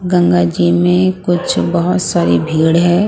गंगा जी में कुछ बहुत सारी भीड़ है ।